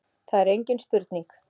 Það er engin spurning